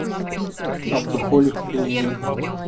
абдухолик ильин